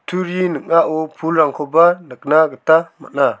ning·ao pulrangkoba nikna gita man·a.